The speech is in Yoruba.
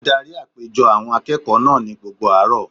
Ó darí àpéjọ àwọn akẹ́kọ̀ọ́ náà ní gbogbo àárọ̀